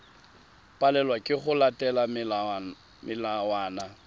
palelwa ke go latela melawana